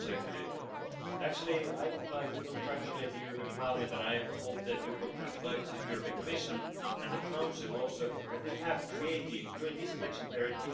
We are all of the same opinion there is the absolute need to reduce the plastic in our lives to a minimum level and to better use this in general useful material.